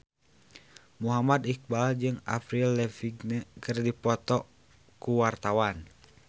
Muhammad Iqbal jeung Avril Lavigne keur dipoto ku wartawan